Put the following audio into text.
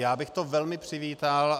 Já bych to velmi přivítal.